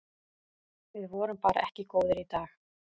Við vorum bara ekki góðir í dag.